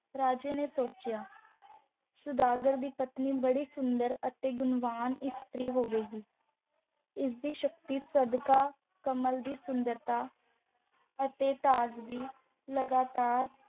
ਰਾਜੇ ਨੇ ਸੋਚਿਆ ਸੁਦਾਗਰ ਦੀ ਪਤਨੀ ਬੜੀ ਸੁੰਦਰ ਅਤੇ ਗੁਣਵਾਨ ਇਸਤਰੀ ਹੋਵੇਗੀ ਜਿਸ ਦੀ ਸ਼ਕਤੀ ਸਦਕਾ ਕਮਲ ਦੀ ਸੁੰਦਰਤਾ ਅਤੇ ਤਾਜਗੀ ਲਗਾਤਾਰ